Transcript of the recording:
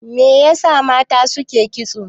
Me yasa mata suke kitso?